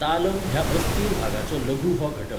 तालम् ह्या अस्थीर भागाचो लघु हो घटक.